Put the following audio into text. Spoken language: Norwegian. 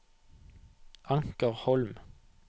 Anker Holm